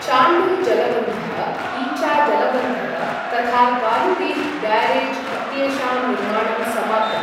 चाण्डिल् जलबन्धः, ईचा जलबन्धः तथा गालुडीह् ब्यारेज् इत्येषां निर्माणं समाप्तम्।